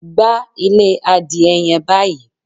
Gbá ilé adìẹ yẹn báyìí!